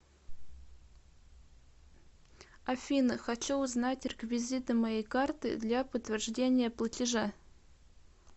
афина хочу узнать реквизиты моей карты для подтверждения платежа